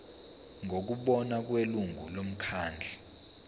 ngokubona kwelungu lomkhandlu